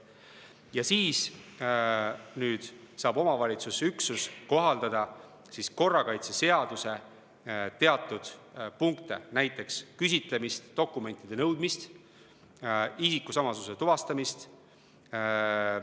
Ja siis saab omavalitsusüksus kohaldada korrakaitseseaduse teatud punkte, näiteks küsitlemist, dokumentide nõudmist, isikusamasuse tuvastamist.